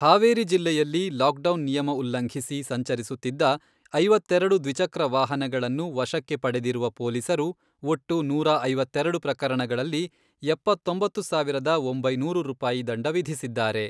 ಹಾವೇರಿ ಜಿಲ್ಲೆಯಲ್ಲಿ ಲಾಕ್ಡೌನ್ ನಿಯಮ ಉಲ್ಲಂಘಿಸಿ ಸಂಚರಿಸುತ್ತಿದ್ದ ಐವತ್ತೆರೆಡು ದ್ವಿಚಕ್ರ ವಾಹನಗಳನ್ನು ವಶಕ್ಕೆ ಪಡೆದಿರುವ ಪೊಲೀಸರು ಒಟ್ಟು ನೂರಾ ಐವತ್ತೆರೆಡು ಪ್ರಕರಣಗಳಲ್ಲಿ ಎಪ್ಪತ್ತೊಂಬತ್ತು ಸಾವಿರದ ಒಂಬೈನೂರು ರೂಪಾಯಿ ದಂಡ ವಿಧಿಸಿದ್ದಾರೆ.